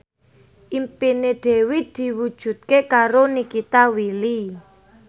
impine Dewi diwujudke karo Nikita Willy